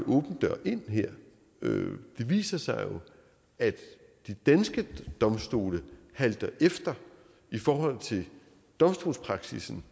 åben dør ind her det viser sig jo at de danske domstole halter efter i forhold til domstolspraksissen